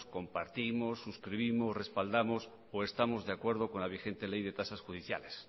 compartimos suscribimos respaldamos o estamos de acuerdo con la vigente ley de tasas judiciales se